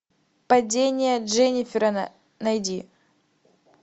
падение дженнифер найди